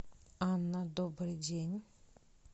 анна добрый день